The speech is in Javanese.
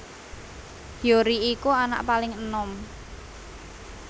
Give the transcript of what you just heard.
Hyori iku anak paling enom